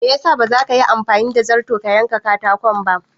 Me ya sa baza ka Yi anfani da zarto ka yen ka katakon ba?